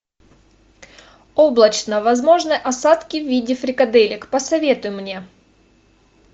облачно возможны осадки в виде фрикаделек посоветуй мне